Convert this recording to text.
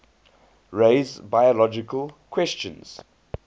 raise biological questions